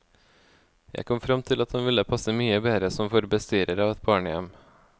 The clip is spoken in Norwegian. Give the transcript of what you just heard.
Jeg kom frem til at hun ville passe mye bedre som for bestyrer av et barnehjem.